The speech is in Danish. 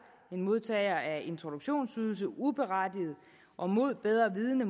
en modtager af introduktionsydelse uberettiget og mod bedre vidende